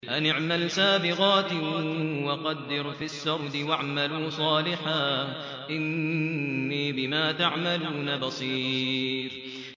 أَنِ اعْمَلْ سَابِغَاتٍ وَقَدِّرْ فِي السَّرْدِ ۖ وَاعْمَلُوا صَالِحًا ۖ إِنِّي بِمَا تَعْمَلُونَ بَصِيرٌ